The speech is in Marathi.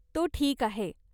तो ठीक आहे.